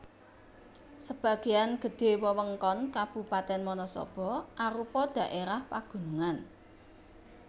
Sebagéan gedhé wewengkon Kabupatèn Wanasaba arupa dhaérah pagunungan